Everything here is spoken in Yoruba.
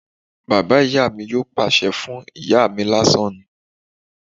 Bàbá ìyá mi yóò pàṣẹ fún ìyá mi lásán ni